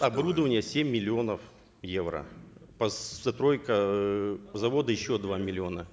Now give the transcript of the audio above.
оборудование семь миллионов евро постройка э завода еще два миллиона